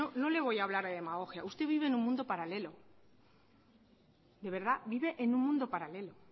no le voy a hablar de demagogia usted vive en un mundo paralelo de verdad vive en un mundo paralelo